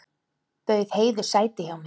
Bauð Heiðu sæti hjá mér.